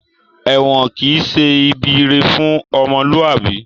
Èwọ̀n kìí ṣe ibi ire fún ọmọlúwàbí